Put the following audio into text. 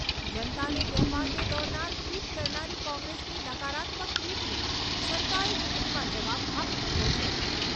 જનતાને ગેરમાર્ગે દોરનારા ટ્વિટ કરનારી કોંગ્રેસની નકારાત્મક ટ્વીટને જનતાએ ચૂંટણીમાં જવાબ આપી દીધો છે.